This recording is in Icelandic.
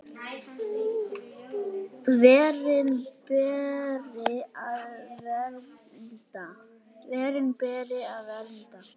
Verin beri að vernda.